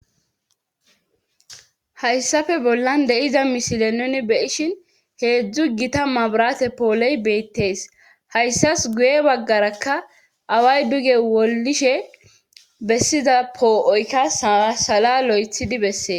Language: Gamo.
hayssafe bollan de7iza mishile nuni be'ishin heedzdzu gita mabrate pooley beettees hayssas guye baggarakka away duge wollishe bessiza poo7oykka sasala lo7ethidi bessee